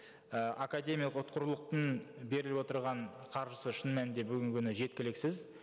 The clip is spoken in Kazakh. і академиялық ұтқырлықтың беріліп отырған қаржысы шын мәнінде бүгінгі күні жеткіліксіз